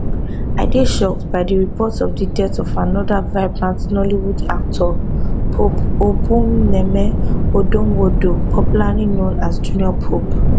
i dey shocked by di reports of di death of anoda vibrant nollywood actor pope obumneme odonwodo popularly known as junior pope